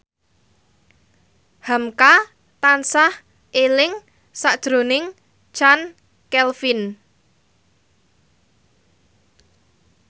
hamka tansah eling sakjroning Chand Kelvin